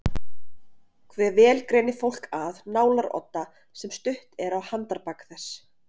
Hve vel greinir fólk að nálarodda sem stutt er á handarbak þess?